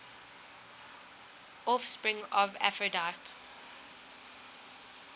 offspring of aphrodite